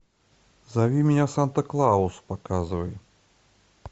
зови меня санта клаус показывай